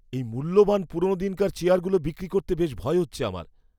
এই মূল্যবান পুরনোদিনকার চেয়ারগুলো বিক্রি করতে বেশ ভয় হচ্ছে আমার।